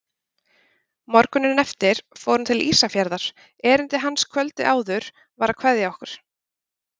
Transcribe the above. Morguninn eftir fór hann til Ísafjarðar, erindi hans kvöldið áður var að kveðja okkur.